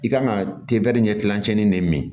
I kan ka ɲɛ kilancɛ ni ne min